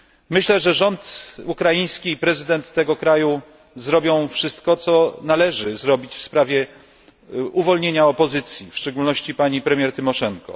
Myślę, że rząd ukraiński i prezydent tego kraju zrobią wszystko, co należy zrobić w sprawie uwolnienia opozycji, w szczególności pani premier Tymoszenko.